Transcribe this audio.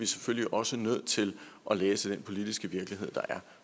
selvfølgelig også nødt til at læse den politiske virkelighed der er